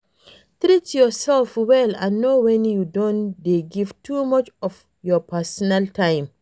Treat your self well and know when you don dey give too much of your personal time